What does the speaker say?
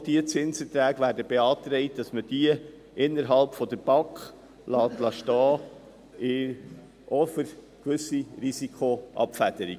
Auch zu diesen Zinserträgen wird beantragt, dass man sie innerhalb der BAK stehen lässt, ebenfalls für gewisse Risikoabfederungen.